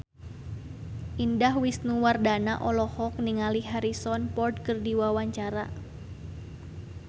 Indah Wisnuwardana olohok ningali Harrison Ford keur diwawancara